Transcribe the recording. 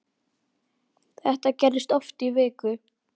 Þetta gerðist oft í viku.